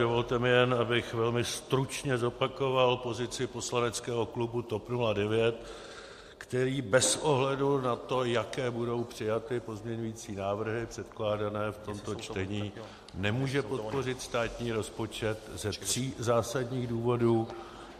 Dovolte mi jen, abych velmi stručně zopakoval pozici poslaneckého klubu TOP 09, který bez ohledu na to, jaké budou přijaty pozměňující návrhy předkládané v tomto čtení, nemůže podpořit státní rozpočet ze tří zásadních důvodů.